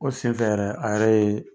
O senfɛ yɛrɛ, a yɛrɛ ye